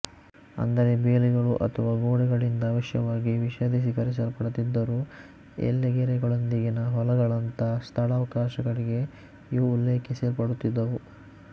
ಅಂದರೆ ಬೇಲಿಗಳು ಅಥವಾ ಗೋಡೆಗಳಿಂದ ಅವಶ್ಯವಾಗಿ ವಿಶದೀಕರಿಸಲ್ಪಡದಿದ್ದರೂ ಎಲ್ಲೆಗೆರೆಗಳೊಂದಿಗಿನ ಹೊಲಗಳಂಥ ಸ್ಥಳಾವಕಾಶಗಳಿಗೆ ಇವು ಉಲ್ಲೇಖಿಸಲ್ಪಡುತ್ತಿದ್ದವು